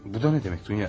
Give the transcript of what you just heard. Bu da nə demək Dunya?